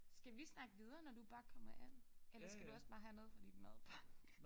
Skal vi snakke videre når du bare kommer ind eller skal du også bare have noget fra din madpakke